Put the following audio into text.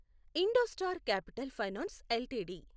IndoStar Capital Finance LTD